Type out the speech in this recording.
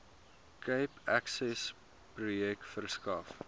cape accessprojek verskaf